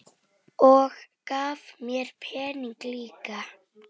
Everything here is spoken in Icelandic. Þau duttu svo oft af.